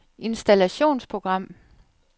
installationsprogram